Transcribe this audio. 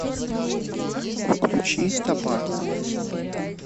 включи табарма